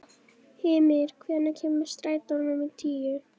Hymir, hvenær kemur strætó númer tíu?